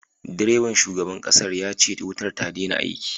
Direban shugaban kasar yace wutar ta daina aiki